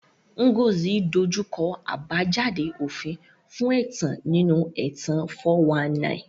Ngozi dojú kọ àbájáde òfin fún ẹ̀tàn nínú ẹ̀tàn 419.